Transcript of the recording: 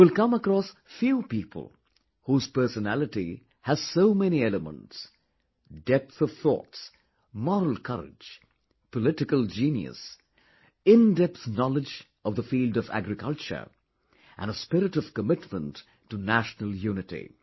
You will come across few people whose personality has so many elements depth of thoughts, moral courage, political genius, in depth knowledge of the field of agriculture and spirit of commitment to national unity